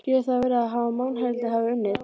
Getur það verið að mannhelvítið hafi unnið?